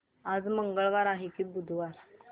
आज मंगळवार आहे की बुधवार